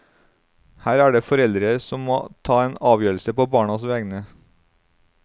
Her er det foreldre som må ta en avgjørelse på barnas vegne.